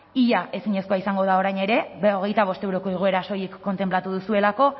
ia ezinezkoa izango da orain ere berrogeita bost euroko igoera soilik kontenplatu duzuelako